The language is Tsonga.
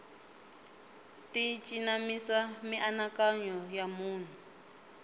ti cinamisa mianakanyo ya munhu